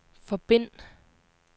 forbind